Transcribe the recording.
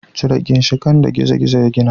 Cire ginshiƙan da gizo-gizo ya gina.